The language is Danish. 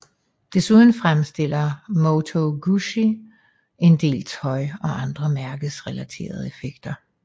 Desuden fremstiller Moto Guzzi en del tøj og andre mærkerelaterede effekter